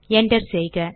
enter செய்க